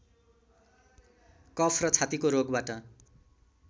कफ र छातीको रोगबाट